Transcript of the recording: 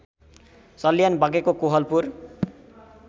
सल्यान बाँकेको कोहलपुर